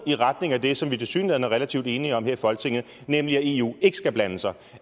i retning af det som vi tilsyneladende er relativt enige om her i folketinget nemlig at eu ikke skal blande sig